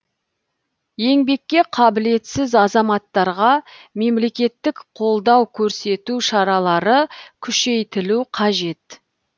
еңбекке қабілетсіз азаматтарға мемлекеттік қолдау көрсету шаралары күшейтілу қажет